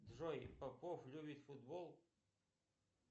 джой попов любит футбол